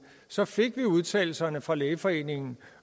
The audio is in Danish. så fik vi udtalelserne fra lægeforeningen